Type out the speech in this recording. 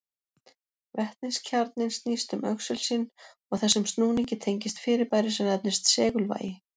Vetniskjarninn snýst um öxul sinn og þessum snúningi tengist fyrirbæri sem nefnist segulvægi.